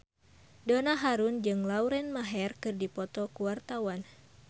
Donna Harun jeung Lauren Maher keur dipoto ku wartawan